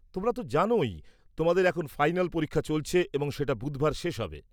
-তোমরা তো জানোই তোমাদের এখন ফাইনাল পরীক্ষা চলছে এবং সেটা বুধবার শেষ হবে।